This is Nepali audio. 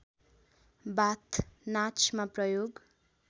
बाथ नाचमा प्रयोग